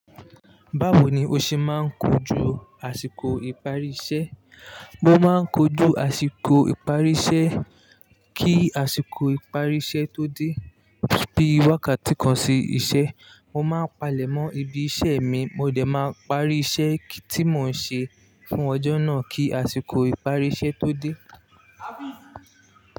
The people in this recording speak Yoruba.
Báwo ni o ṣe máa ń kojú àsìkò ìparí iṣẹ́? Mo máa ń kojú àsìkò ìparí iṣẹ́ kí àsìkò ìparí iṣẹ́ tó dé. Bí wákàtí kan sí iṣẹ́, mo máa palẹ̀ mọ́ ibi iṣẹ́ mi, mo dẹ̀ máa parí iṣẹ́ tí mò ń ṣe fún ọjọ́ náà kí àsìkò ìparí iṣẹ́ tó dé.